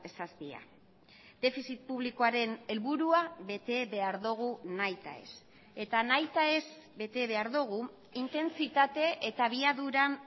zazpia defizit publikoaren helburua bete behar dugu nahita ez eta nahita ez bete behar dugu intentsitate eta abiaduran